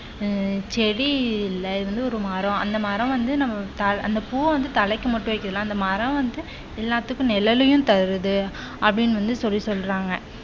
ஆஹ் செடியிலிருந்து வந்து ஒரு மரம் அந்த மரம் வந்து நம்ம அந்த பூ வந்து தலைக்கு மட்டும் வைக்கலாம் அந்த மரம் வந்து எல்லாத்துக்கும் நிழலையும் தருது அப்படின்னு வந்து சொல்லி சொல்றாங்க.